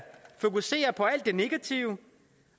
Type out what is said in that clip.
fokusere på alt det negative